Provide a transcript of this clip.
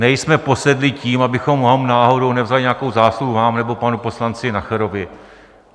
Nejsme posedlí tím, abychom vám náhodou nevzali nějakou zásluhu, vám nebo panu poslanci Nacherovi.